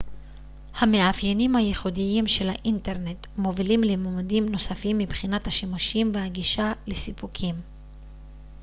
המאפיינים הייחודיים של האינטרנט מובילים לממדים נוספים מבחינת השימושים והגישה לסיפוקים